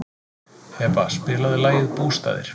Heba, spilaðu lagið „Bústaðir“.